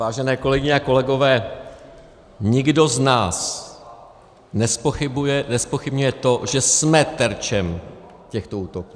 Vážené kolegyně a kolegové, nikdo z nás nezpochybňuje to, že jsme terčem těchto útoků.